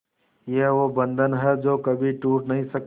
ये वो बंधन है जो कभी टूट नही सकता